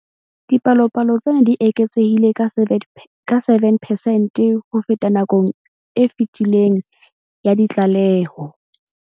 Dipalopalo tsena di eketsehile ka 7 percent ho feta nakong e fetileng ya ditlaleho.